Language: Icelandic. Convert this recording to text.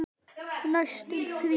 Næstum því.